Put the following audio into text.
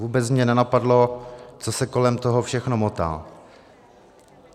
Vůbec mě nenapadlo, co se kolem toho všechno motá.